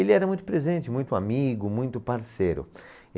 Ele era muito presente, muito amigo, muito parceiro.